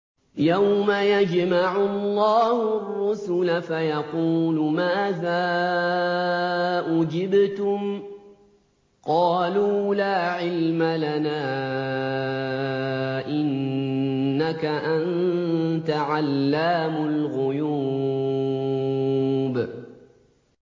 ۞ يَوْمَ يَجْمَعُ اللَّهُ الرُّسُلَ فَيَقُولُ مَاذَا أُجِبْتُمْ ۖ قَالُوا لَا عِلْمَ لَنَا ۖ إِنَّكَ أَنتَ عَلَّامُ الْغُيُوبِ